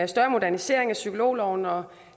større modernisering af psykologloven og